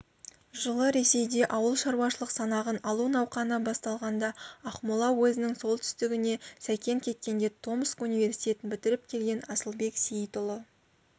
жылы ресейде ауылшаруашылық санағын алу науқаны басталғанда ақмола уезінің солтүстігіне сәкен кеткенде томск университетін бітіріп келген асылбек сейітұлы